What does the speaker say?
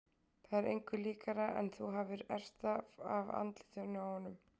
Það er engu líkara en þú hafir erft það af andlitinu á honum.